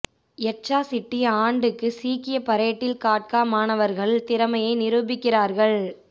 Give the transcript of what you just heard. யட்சா city ஆண்டு சீக்கிய பரேட்டில் காட்கா மாணவர்கள் திறமையை நிரூபிக்கிறார்கள்